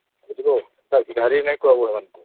ବୁଝିଲୁ ଭିକାରି ନାଇଁ କହିବୁ ହେମାନ ଙ୍କୁ